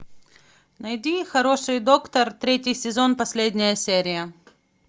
найди хороший доктор третий сезон последняя серия